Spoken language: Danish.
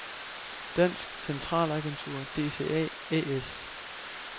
Dansk Centralagentur DCA A/S